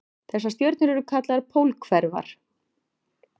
Þessar stjörnur eru kallaðar pólhverfar.